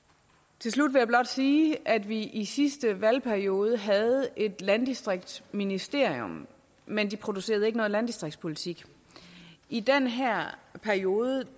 til slut vil jeg blot sige at vi i sidste valgperiode havde et landdistriktsministerium men det producerede ikke nogen landdistriktspolitik i den her periode